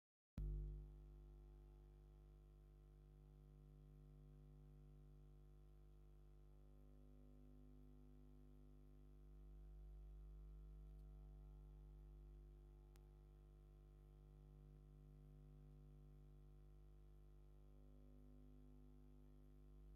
ኣቶ ለማ ቅድሚ ሕዚ ፕረዚደንት ክልል ኦሮምያን ሚኒስትር ምክልኻል ኢትዮጵያን ኮይኖም ዘገልገሉ እዮም። ኣብዚ ሕዚ እዋን ካብ ፖለቲካዊ ምንቅስቓስ ርሒቑ እኳ እንተሎ፡ እዚ ፖለቲከኛ ክንርኢ ከለና እንታይ ዓይነት ክብሪ ወይ ፖለቲካዊ ተስፋ ይስምዓና?